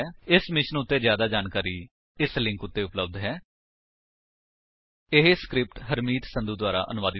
ਇਸ ਮਿਸ਼ਨ ਬਾਰੇ ਜਿਆਦਾ ਜਾਣਕਾਰੀ ਇਸ ਲਿੰਕ ਉੱਤੇ ਉਪਲੱਬਧ ਹੈ http ਸਪੋਕਨ ਟਿਊਟੋਰੀਅਲ ਓਰਗ ਨਮੈਕਟ ਇੰਟਰੋ ਇਹ ਸਕਰਿਪਟ ਹਰਮੀਤ ਸੰਧੂ ਦੁਆਰਾ ਅਨੁਵਾਦਿਤ ਹੈ